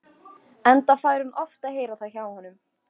Enda fær hún oft að heyra það hjá honum.